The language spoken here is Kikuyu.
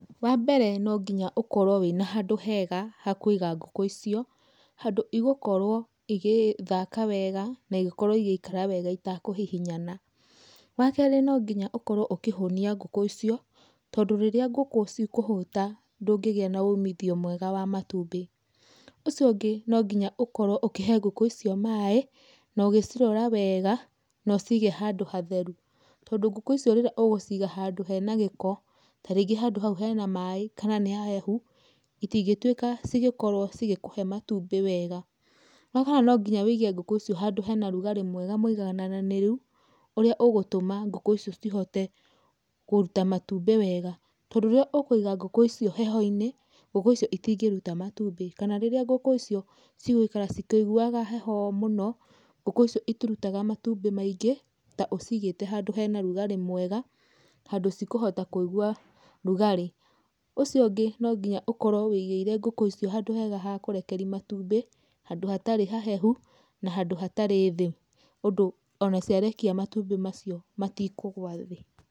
Wambere no ngĩnya ũkorwo wĩna handũ hega ha kũiga ngũkũ icio, handũ igũkorwo igĩthaka wega na igĩkorwo igĩikara wega itekuhihinyana. Wakerĩ no nginya ũkorwo ũkĩhũnia ngũkũ icio tondũ rĩrĩa ngũkũ cikũhũta ndũngĩgĩa na ũmithio mwega wa matumbĩ. Ũcio ũngĩ nongĩnya ũkorwo ũkĩhe ngũkũ icio maaĩ, nogĩcirora wega na ũcige handũ hatheru, tondũ ngũkũ icio rĩrĩa ũgũciga handũ hena gĩko, tarĩngĩ handũ hau hena maaĩ kana nĩ hahehu itingĩtuika cigĩkorwo cigĩkũhe matumbĩ wega. Wakana no nginya wĩige ngũkũ icio handũ hena rugarĩ mwega mũigaganananĩru, ũrĩa ũgũtũma ngũkũ icio cihote kũruta matumbĩ wega, tondũ rĩrĩa ũkũiga ngũkũ icio heho-inĩ, ngũkũ icio itingĩruta matumbĩ, kana rĩrĩa ngũkũ icio cigũikara cikĩiguaga heho mũno ngũkũ icio itirutaga matumbĩ maingĩ ta ũcigĩte handũ hena rugarĩ mwega, handũ cikũhota kũigwa rugarĩ. Ũcio ũngĩ nonginya ũkorwo wĩigĩire ngũkũ icio handũ hega ha kũrekeri matumbĩ, handũ hatarĩ hahehu na handũ hatarĩ thĩ ũndũ ona ciarekia matumbĩ macio matikũgũa thĩ.